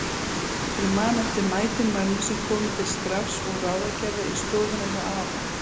Ég man eftir mætum mönnum sem komu til skrafs og ráðagerða í stofuna hjá afa.